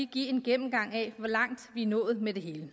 give en gennemgang af hvor langt vi er nået med det hele